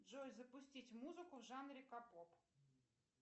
джой запустить музыку в жанре ка поп